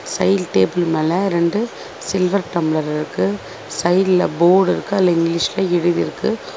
சைடுல டேபிள் மேல ரெண்டு சில்வர் டம்ளர்ரிர்கு சைடுல போர்ட் இருக்கு அதுல இங்கிலீஷ்ல எழுதிருக்கு.